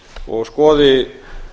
og skoði